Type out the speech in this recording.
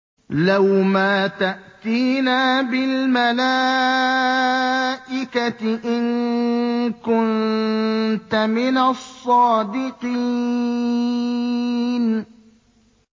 لَّوْ مَا تَأْتِينَا بِالْمَلَائِكَةِ إِن كُنتَ مِنَ الصَّادِقِينَ